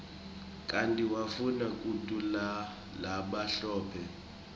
kanti wafuna kuthulanalabamhlophe